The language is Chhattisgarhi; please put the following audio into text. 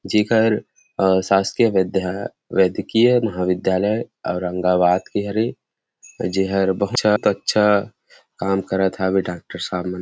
जेकर अ शासकीय विदया वेदकीय महाविद्यालय औरंगाबाद के हरे जेहर बहुत अच्छा काम करत हवे डाँक्टर साहब मन --